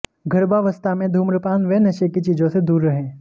गर्भावस्था में धूम्रपान व नशे की चीजों से दूर रहे